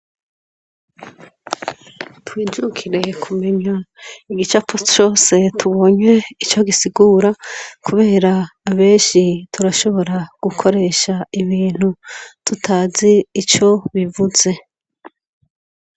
Twijukire kumenya igicapo cose tubonye ico gisigura, kubera abenshi turashobora gukoresha ibintu, tutazi ico bivuze.